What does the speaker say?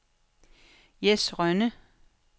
Jess Rønne